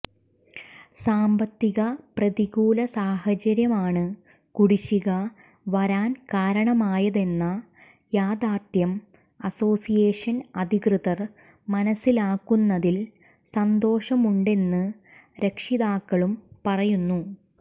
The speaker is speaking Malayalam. സാമ്പത്തിക പ്രതികൂല സാഹചര്യമാണ് കുടിശ്ശിക വരാൻ കാരണമായതെന്ന യാഥാർഥ്യം അസോസ്സിയേഷൻ അധികൃതർ മനസ്സിലാക്കുന്നതിൽ സന്തോഷമുണ്ടെന്ന് രക്ഷിതാക്കളും പറയുന്നു